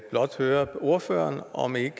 blot høre ordføreren om ikke